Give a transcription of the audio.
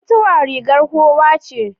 Mutuwa rigar kowa ce.